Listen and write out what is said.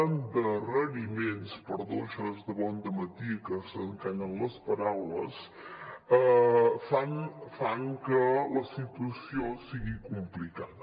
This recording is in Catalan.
endarreriments perdó això és que de bon dematí s’encallen les paraules fan que la situació sigui complicada